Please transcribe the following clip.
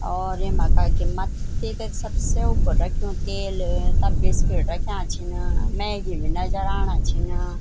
और येमा कखिम मथी पे सबसे उब्बू रख्युं तेल तब बिस्कुट रख्याँ छिंन मैगी भी नजर आणा छिंन।